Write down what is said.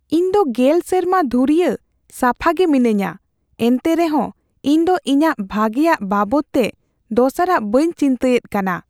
ᱤᱧ ᱫᱚ ᱑᱐ ᱥᱮᱨᱢᱟ ᱫᱷᱩᱨᱭᱟᱹ ᱥᱟᱯᱷᱟ ᱜᱮ ᱢᱤᱱᱟᱹᱧᱟ ᱮᱱᱛᱮ ᱨᱮᱦᱚᱸ ᱤᱧ ᱫᱚ ᱤᱧᱟᱹᱜ ᱵᱷᱟᱜᱮᱭᱟᱜ ᱵᱟᱵᱚᱫ ᱛᱮ ᱫᱚᱥᱟᱨᱟᱜ ᱵᱟᱹᱧ ᱪᱤᱱᱛᱟᱹᱭᱮᱫ ᱠᱟᱱᱟ ᱾